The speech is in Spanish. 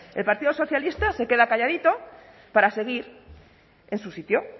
el partido socialista se queda calladito para seguir en su sitio